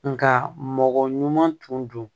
Nka mɔgɔ ɲuman tun don